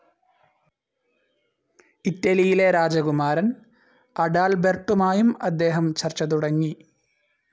ഇറ്റലിയിലെ രാജകുമാരൻ അഡാൽബെർട്ടുമായും അദ്ദേഹം ചർച്ച തുടങ്ങി.